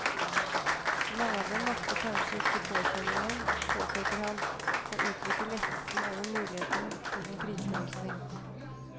Mange av dem makter kanskje ikke påkjenningen, påpeker han, og uttrykker lettelse over muligheten til en kriseløsning.